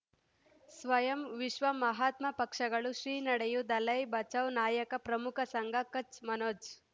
ಸ್ವಯಂ ವಿಶ್ವ ಮಹಾತ್ಮ ಪಕ್ಷಗಳು ಶ್ರೀ ನಡೆಯೂ ದಲೈ ಬಚೌ ನಾಯಕ ಪ್ರಮುಖ ಸಂಘ ಕಚ್ ಮನೋಜ್